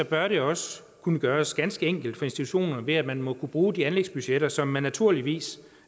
bør det også kunne gøres ganske enkelt for institutionerne ved at man må kunne bruge de anlægsbudgetter som man naturligvis